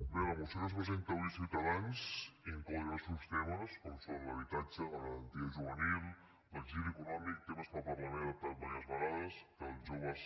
bé la moció que ens presenta avui ciutadans inclou diversos temes com són l’habitatge la garantia juvenil l’exili econòmic temes que el parlament ha tractat diverses vegades que els joves